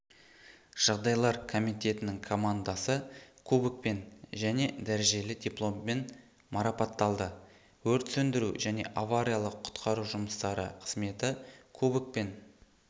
жағдайлар комитетінің командасы кубокпен және дәрежелі дипломмен марапатталды өрт сөндіру және авариялық-құтқару жұмыстары қызметі кубокпен